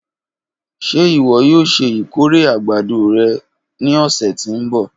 Ṣe iwọ yoo ṣe ikore agbado rẹ ni ọsẹ ti n bọ?